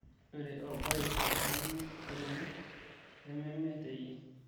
ore orbai lemeolino nememe teeyie